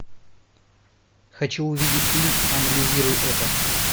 хочу увидеть фильм анализируй это